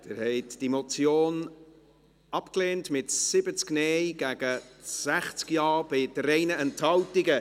Sie haben diese Motion abgelehnt, mit 70 Nein- gegen 60 Ja-Stimmen bei 3 Enthaltungen.